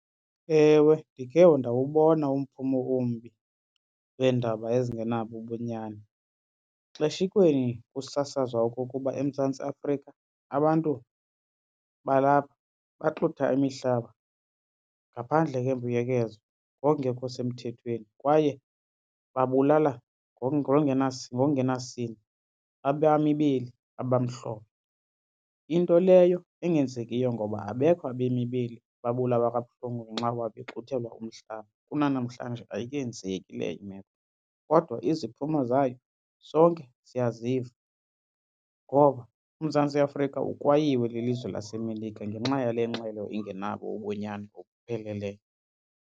Ewe, ndikhe ndawubona umphumo ombi weendaba ezingenabo ubunyani. Xeshikweni kusasazwa okokuba eMzantsi Afrika abantu balapha baxutha imihlaba ngaphandle kwembuyekezo ngokungekho semthethweni kwaye babulala ngokungenasini abemi beli abamhlophe. Into leyo engenzekiyo ngoba abekho abemi beli ababulawa kabuhlungu ngenxa yoba bexuthelwa umhlaba kunanamhlanje ayikenzeki leyo imeko kodwa iziphumo zayo sonke siyaziva. Ngoko uMzantsi Afrika ukwayiwe lilizwe laseMelika ngenxa yale ngxele ingenabo ubunyani obupheleleyo.